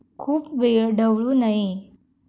खूप वेळ ढवळू नये.